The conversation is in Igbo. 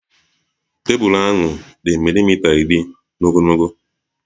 Tebụl ahụ dị milimita iri n'ogologo